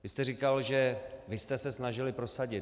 Vy jste říkal, že vy jste se snažili prosadit.